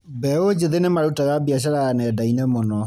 Mbeũ njĩthĩ nĩmarutaga biacara ya nenda-inĩ mũno